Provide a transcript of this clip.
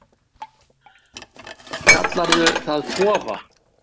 Kallarðu það kofa?